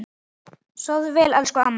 Sofðu vel, elsku amma.